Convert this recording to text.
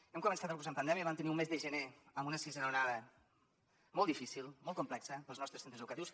hem començat el curs en pandèmia i vam tenir un mes de gener amb una sisena onada molt difícil molt complexa per als nostres centres educatius